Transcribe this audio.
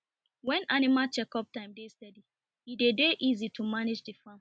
when animal chekup time dey steady e dey dey easy to manage the farm